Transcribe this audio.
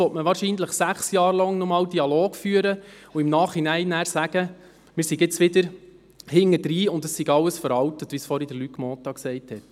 Wahrscheinlich will man nun nochmals während sechs Jahren einen Dialog führen und im Nachhinein sagen, es sei inzwischen alles veraltet, so wie es Luc Mentha gesagt hat.